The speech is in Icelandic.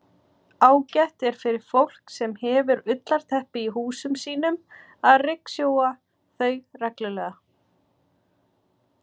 Ágætt er fyrir fólk sem hefur ullarteppi í húsum sínum að ryksjúga þau reglulega.